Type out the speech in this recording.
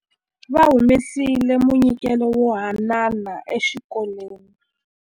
Va humesile munyikelo wo haanana exikolweni.